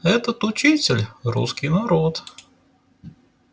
этот учитель русский народ